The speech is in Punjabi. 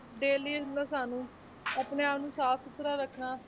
daily ਸਾਨੂੰ ਆਪਣੇ ਆਪ ਨੂੰ ਸਾਫ਼ ਸੁੱਥਰਾ ਰੱਖਣਾ,